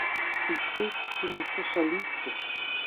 Tisti, ki niso solisti.